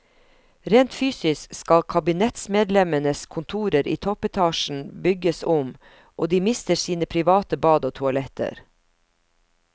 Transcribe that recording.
Rent fysisk skal kabinettsmedlemmenes kontorer i toppetasjen bygges om, og de mister sine private bad og toaletter.